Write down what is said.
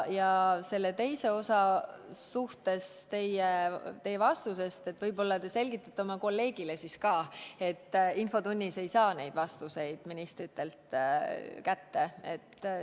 Selle teie vastuse teise osa suhtes: võib-olla te selgitate oma kolleegile siis ka, et infotunnis ei saa neid vastuseid ministritelt kätte.